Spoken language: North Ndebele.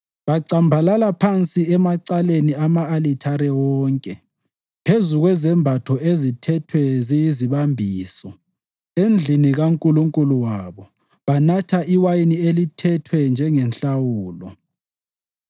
Bacambalala phansi emaceleni ama-alithare wonke, phezu kwezembatho ezithethwe ziyizibambiso. Endlini kankulunkulu wabo banatha iwayini elithethwe njengenhlawulo.